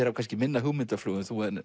hafa kannski minna hugmyndaflug en þú